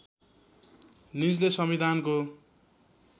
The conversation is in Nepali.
निजले संविधानको